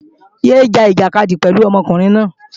Yé é ja ìjàkadì pẹ̀lú ọmọkùnrin náà!